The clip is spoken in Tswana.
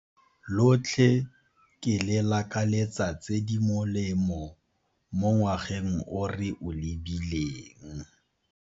Lotlhe ke le lakaletsa tse di molemo mo ngwageng o re o lebileng.